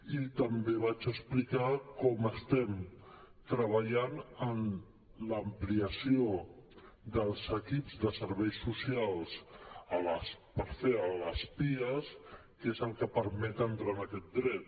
i també vaig explicar com estem treballant en l’ampliació dels equips de serveis socials per fer els pias que és el que permet entrar en aquest dret